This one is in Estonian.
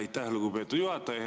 Aitäh, lugupeetud juhataja!